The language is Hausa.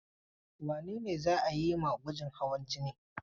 Wane ne za a yi ma gwajin hawan jini?